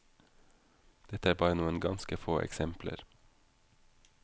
Dette er bare noen ganske få eksempler.